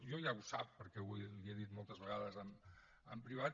jo ja ho sap perquè li ho he dit moltes vegades en privat